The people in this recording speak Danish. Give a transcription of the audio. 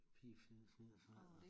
Pigefnidder fnidder fnadder